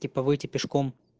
типа выйти пешком